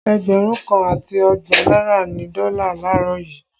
Ẹgbẹ̀rún kan àti ọgbọ̀n náírà ni dọ́là laarọ yuu